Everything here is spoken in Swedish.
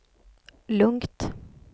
lugnt